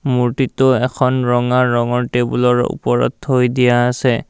মূৰ্ত্তিটো এখন ৰঙা ৰঙৰ টেবুলৰ ওপৰত থৈ দিয়া আছে।